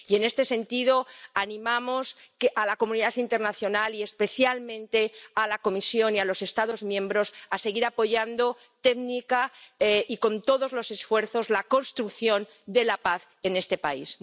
Y, en este sentido, animamos a la comunidad internacional, y especialmente a la Comisión y a los Estados miembros, a seguir apoyando técnicamente y con todos los esfuerzos la construcción de la paz en este país.